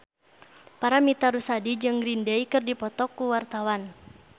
Paramitha Rusady jeung Green Day keur dipoto ku wartawan